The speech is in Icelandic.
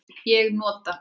Ég nota